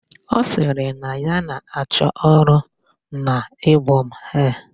Ọ sịrị na ya na-achọ ọrụ n'Ibom Air